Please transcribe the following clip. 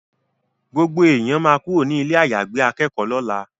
Gbogbo èèyàn ma kúrò ní ilé àyàgbé akẹ́kọ̀ọ́ lọ́la